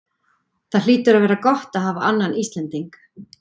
Það hlýtur að vera gott að hafa annan Íslending?